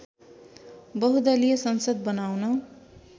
बहुदलिय संसद बनाउन